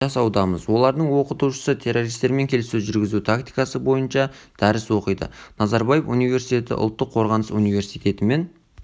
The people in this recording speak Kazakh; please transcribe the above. жасаудамыз олардың оқытушысы террористермен келіссөз жүргізу тактикасы бойынша дәріс оқиды назарбаев университеті ұлттық қорғаныс университетімен